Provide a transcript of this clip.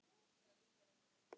Eiga þau lítinn dreng.